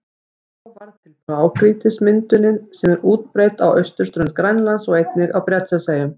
Þá varð til blágrýtismyndunin sem er útbreidd á austurströnd Grænlands og einnig á Bretlandseyjum.